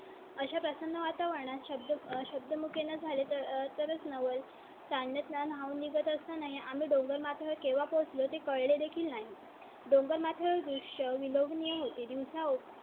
प्रसन्न वातावरणा चा शब्द मध्ये झाले तरच नवल. त्या नेच ना हो निघत असताना ही आम्ही डोंगर माथा केव्हा पोहोचलो ते कळले देखील नाही. डोंगरमाथ्यावर दृष्य विलोभनीय होते. दिवसा